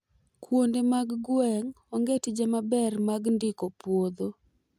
kuonde mag gwenge onge tije maber mag ndiko puodho